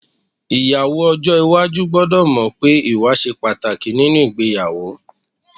Ìyàwó ọjọ́ iwájú gbọ́dọ̀ mọ̀ pé ìwà ṣe pàtàkì nínú ìgbéyàwó